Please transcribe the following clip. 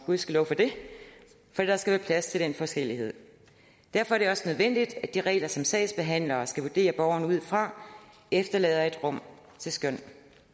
gudskelov for det for der skal være plads til den forskellighed derfor er det også nødvendigt at de regler som sagsbehandlere skal vurdere borgeren ud fra efterlader et rum til skøn